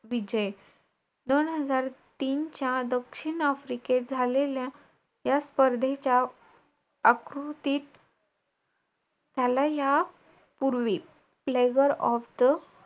जे समज अ आपल्याला गणित असायचे आधी लहान